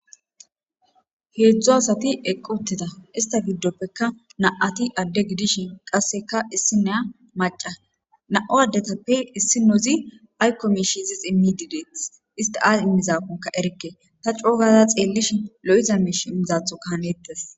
Heedzdzu asati eqqu uttida ista giddoppekka na'ati adde gidishin qasseka issineya maca. Nam'u ddetappe issinozi aykko mishi izis immidi deetes. Isti ay immizaakonka erikke. Ta coo gada xeellishin lo'iza miish imizathoka haanettes.